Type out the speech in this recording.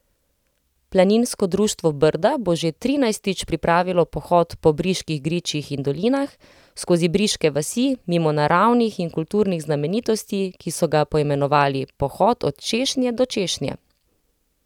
Planinsko društvo Brda bo že trinajstič pripravilo pohod po briških gričih in dolinah, skozi briške vasi, mimo naravnih in kulturnih znamenitosti, ki so ga poimenovali Pohod od češnje do češnje.